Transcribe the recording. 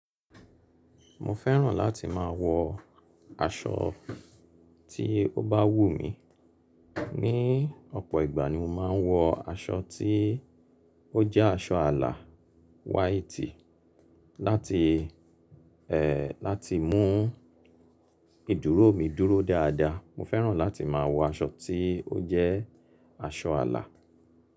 Mo fẹ́ràn láti má a wọ aṣọ tí ó bá wù mí, ní ọ̀pọ̀ ìgbà ni mo máa ń wọ aṣọ tí ó jẹ́ aṣọ àlà white láti, ẹ́, láti mú ìdúró mi dúró dáadáa, mo fẹ́ràn láti má a wọ aṣọ tí ó jẹ́ aṣọ àlà.